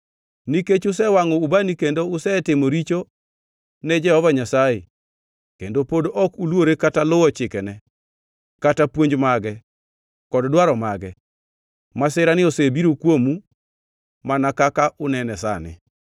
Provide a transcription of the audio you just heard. Nikech usewangʼo ubani kendo usetimo richo ne Jehova Nyasaye kendo pod ok uluore kata luwo chikene kata puonj mage kod dwaro mage, masirani osebiro kuomu, mana kaka unene sani.”